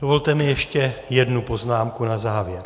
Dovolte mi ještě jednu poznámku na závěr.